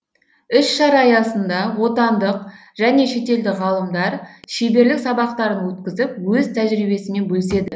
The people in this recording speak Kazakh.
іс шара аясында отандық және шетелдік ғалымдар шеберлік сабақтарын өткізіп өз тәжірибесімен бөліседі